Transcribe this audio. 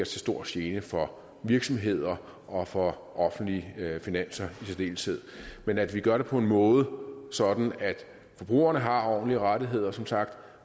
til stor gene for virksomheder og for offentlige finanser i særdeleshed men at vi gør det på en måde så forbrugerne har ordentlige rettigheder som sagt